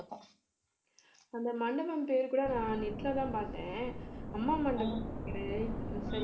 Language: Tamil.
அந்த மண்டபம் பேரு கூட நான் net லதான் பார்த்தேன் அம்மா மண்டபம்